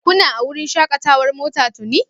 Kuna a wurin shakatawar mota tuni)?